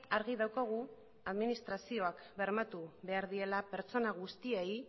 argi daukagu administrazioak bermatu behar diela pertsona guztiei